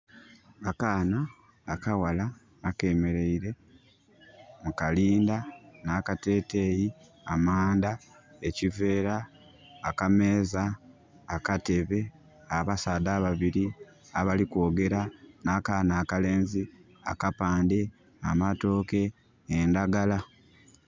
Akaana akaghala akemereire mu kalinda na kateteeyi, amanda, ekiveera, akameeza, akatebe, abasaadha ababiri abali kwogera na kaana akalenzi, akapande, amatooke endagala